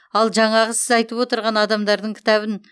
ал жаңағы сіз айтып отырған адамдардың кітабын